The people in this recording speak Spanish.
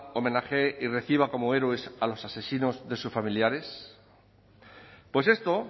homenajeé y reciba como héroes a los asesinos de sus familiares pues esto